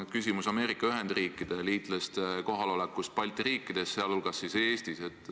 Küsimus on Ameerika Ühendriikide kohalolekust Balti riikides, sh Eestis.